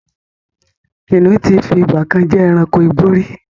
Kínníun tí fi ìgbàkan jẹ́ ẹranko igbó rí